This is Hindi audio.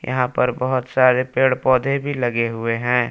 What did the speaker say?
यहां पर बहुत सारे पेड़ पौधे भी लगे हुएं हैं।